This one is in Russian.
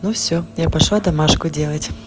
ну всё я пошла домашку делать